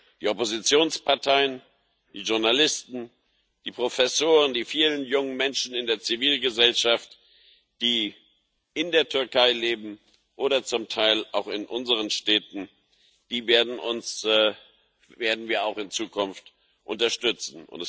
Die Oppositionsparteien, die Journalisten, die Professoren, die vielen jungen Menschen in der Zivilgesellschaft, die in der Türkei oder zum Teil auch in unseren Städten leben, werden wir auch in Zukunft unterstützen.